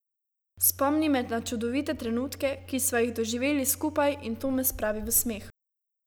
Spomni me na čudovite trenutke, ki sva jih doživeli skupaj, in to me spravi v smeh.